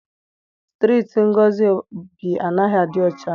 Strịịtị Ngozi bi anaghị adị ọcha.